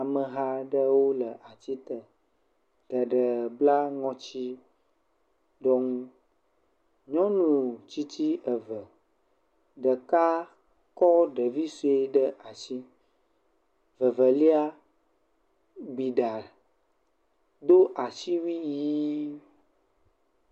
Ameha aɖewo le ati te, geɖe bla ŋɔtitsyɔnu, nyɔnu tsitsi eve, ɖeka kɔ ɖevi sɔe ɖe asi, vevelia gbi ɖa, do asiwui ʋɛ̃.